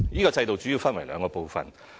該制度主要分為兩個部分。